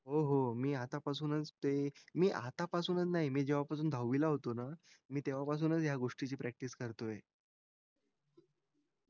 हो हो मी आता पासूनच ते मी आता पासूनच नाही मी जेव्हा दहावी ला होतो ना मी तेव्हा पासून ह्या गोष्टी ची practice करतोय